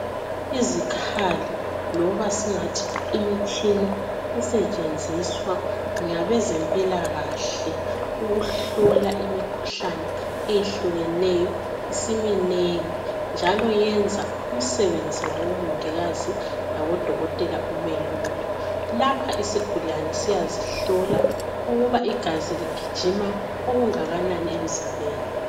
iikhali loba singathi imitshina esetshenziswa ngabezempilakahle ukuhlola imikhuhlane eyehlukeneyo isiminengi njalo yenza umsebenzi wabo mongikazi labo dokotela ube lula lapha isigulane siyazihlola ukuba igazi ligijima okunganani emzimbeni